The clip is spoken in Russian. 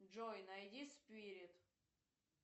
джой найди спирит